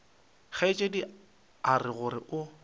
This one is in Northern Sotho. kgaetšedi o ra gore o